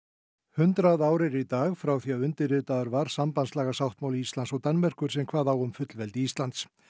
hundrað ár eru í dag frá því að undirritaður var sambandslagasáttmáli Íslands og Danmerkur sem kvað á um fullveldi Íslands